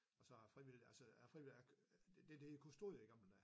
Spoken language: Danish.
Og så har jeg frivillig altså jeg er frivillig det det der hed kustode i gamle dage